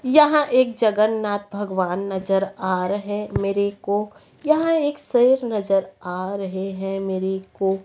यहां एक जगन्नाथ भगवान नजर आ रहे मेरे को यहां एक शेर नजर आ रहे हैं मेरे को।